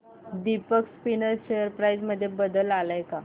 Deepak spinners share price मध्ये बदल आलाय का